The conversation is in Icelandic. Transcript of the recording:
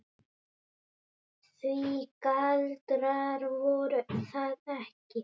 Því galdrar voru það ekki.